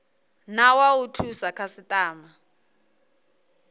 na wa u thusa khasitama